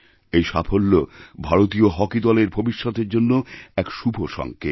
এই সাফল্য ভারতীয় হকি দলেরভবিষ্যতের জন্য এক শুভ সংকেত